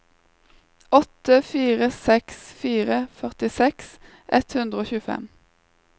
åtte fire seks fire førtiseks ett hundre og tjuefem